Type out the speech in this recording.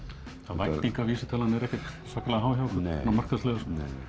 væntingavísitalan er ekkert sérstaklega há hjá okkur markaðslega